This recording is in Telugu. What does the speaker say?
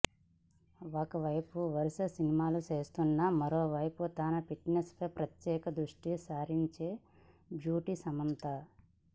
ఓ వైపు వరుస సినిమాలు చేస్తూనే మరోవైపు తన ఫిట్నెస్ పై ప్రత్యేక దృష్టిసారించే బ్యూటీ సమంత